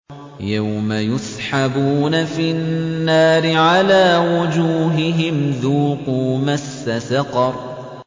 يَوْمَ يُسْحَبُونَ فِي النَّارِ عَلَىٰ وُجُوهِهِمْ ذُوقُوا مَسَّ سَقَرَ